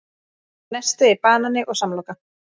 Nesti: Banani og samloka